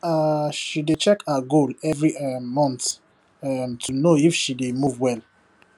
um she dey check her goal every um month um to know if she dey dey move well